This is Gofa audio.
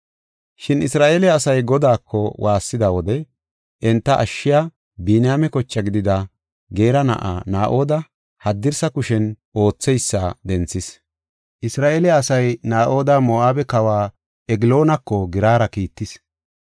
Shin Isra7eele asay Godaako waassida wode enta ashshiya, Biniyaame koche gidida Geera na7aa Naa7oda, haddirsa kushen ootheysa denthis. Isra7eele asay Naa7oda Moo7abe kawa Egloonako giirara kiittis.